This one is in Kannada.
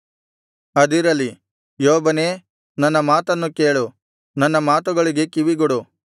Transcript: ಅದಿರಲಿ ಯೋಬನೇ ನನ್ನ ಮಾತನ್ನು ಕೇಳು ನನ್ನ ಮಾತುಗಳಿಗೆಲ್ಲಾ ಕಿವಿಗೊಡು